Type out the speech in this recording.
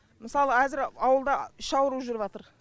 мысалы әзір ауылда іш ауруы жүріп жатыр